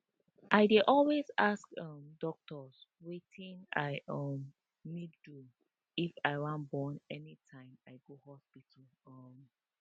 i dey always ask um doctor wetin i um need do if wan born anytime i go hospital um